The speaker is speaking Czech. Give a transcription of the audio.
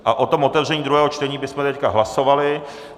A o tom otevření druhého čtení bychom teď hlasovali.